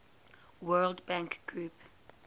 world bank group